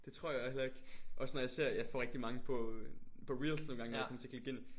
Det tror jeg heller ikke. Også når jeg ser jeg får rigtig mange på øh på reels nogen gange når jeg kommer til at klikke ind